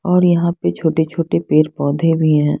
और यहाँ पे छोटे छोटे पेड़ पौधे भी हैं।